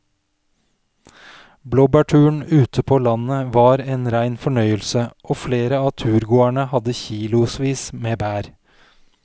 Blåbærturen ute på landet var en rein fornøyelse og flere av turgåerene hadde kilosvis med bær.